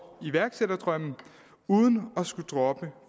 iværksætterdrømmen uden at skulle droppe